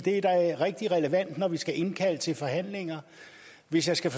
er da rigtig relevant når vi skal indkalde til forhandlinger hvis jeg skal